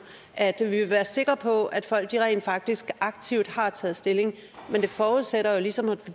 at vi vil være sikre på at folk rent faktisk aktivt har taget stilling men det forudsætter jo ligesom at det